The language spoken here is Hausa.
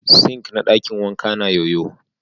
"Sink " na dakin wankan na yo-yo.